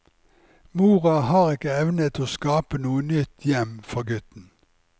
Mora har ikke evnet å skape noe nytt hjem for gutten.